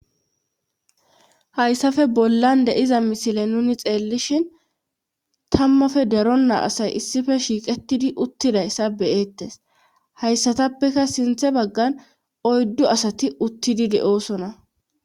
hayssafe bollan deiza misile nuni xeellishin tammappe daronnaa asay issife shiiqettidi uttidayssa beyeettes hayssatappeka sinthe baggan oyddu asati uttidi de7oosona